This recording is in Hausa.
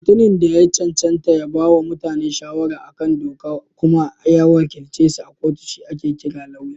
Mutumin da ya cancanta ya bawa mutane shawara a kan doka kuma ya wakilcesu a kotu shi ake kira Lauya.